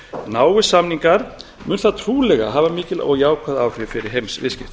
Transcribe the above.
náist samningar mun það trúlega hafa mikil og jákvæð áhrif fyrir heimsviðskiptin